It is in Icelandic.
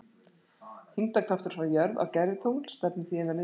Þyngdarkraftur frá jörð á gervitungl stefnir því inn að miðju jarðar.